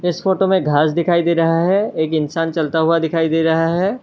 इस फोटो में घास दिखाई दे रहा है एक इंसान चलता हुआ दिखाई दे रहा है।